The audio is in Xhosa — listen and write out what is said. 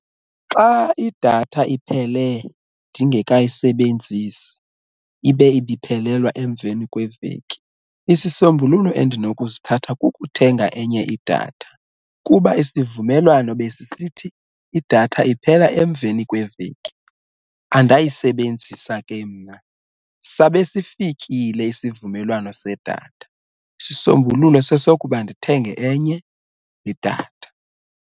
Xa idatha iphele ndingekayisebenzisi ibe ibiphelelwa emveni kweveki isisombululo endinokusithatha kukuthenga enye idatha kuba isivumelwano besisithi idatha iphela emveni kweveki andayisebenzisa ke mna sabe sifikile isivumelwano sedatha, isisombululo sesokuba ndithenge enye idatha.